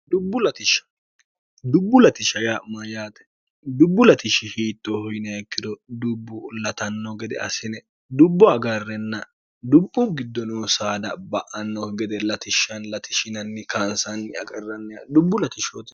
dubbu ltish ya'm yaate dubbu latishshi hiittoohoyineekkiro dubbu latanno gede asine dubbu agarrenna dubbu giddo noo saada ba'annohu gede latishshan latishinanni kaansanni aqarranniha dubbu latishshooi